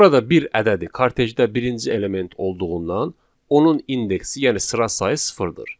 Burada bir ədədi kartejdə birinci element olduğundan onun indeksi, yəni sıra sayı sıfırdır.